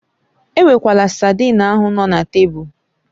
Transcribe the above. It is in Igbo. Ewekwala saidin ahụ nọ na tebụl